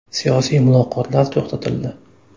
Siyosiy muloqotlar to‘xtatildi.